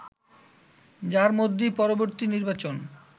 যার মধ্যেই পরবর্তী নির্বাচন